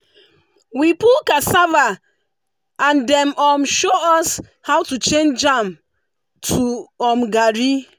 we pull cassava and dem um show us how to change am to um garri.